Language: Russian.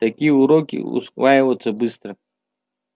такие уроки усваиваются быстро